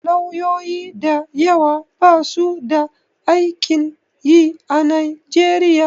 Lauyoyi da yawa basu da aikin yi a Nigeria.